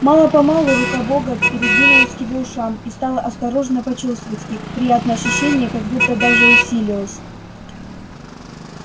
мало помалу рука бога передвинулась к его ушам и стала осторожно почёсывать их приятное ощущение как будто даже усилилось